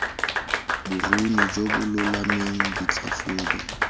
boruni jo bo lolameng ditlhatlhobo